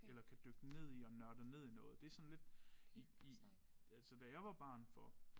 Eller kan dykke ned i og nørde ned i noget det sådan lidt i i altså da jeg var barn for